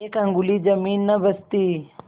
एक अंगुल जमीन न बचती